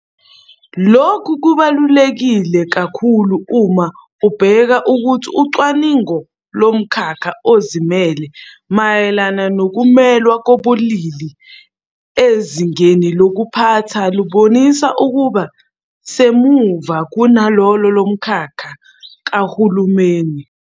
Lokhu kubaluleke kakhulu uma ubheka ukuthi ucwaningo lomkhakha ozimele mayelana nokumelwa kobulili ezingeni lokuphatha lubonisa ukuba semuva kunalolo lomkhakha kahulumeni.